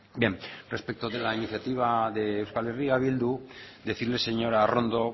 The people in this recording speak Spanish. bien respecto de la iniciativa de euskal herria bildu decirle señora arrondo